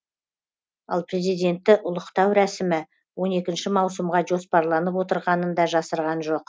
ал президентті ұлықтау рәсімі он екінші маусымға жоспарланып отрығанын да жасырған жоқ